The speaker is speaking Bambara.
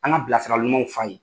An ka bilasirali ɲumanw f'a ye.